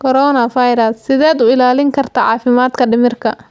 Coronavirus: Sideed u ilaalin kartaa caafimaadka dhimirka?